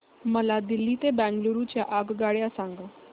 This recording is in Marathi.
मला दिल्ली ते बंगळूरू च्या आगगाडया सांगा